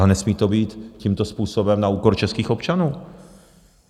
Ale nesmí to být tímto způsobem na úkor českých občanů.